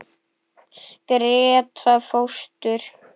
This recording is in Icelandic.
Gréta fóstur.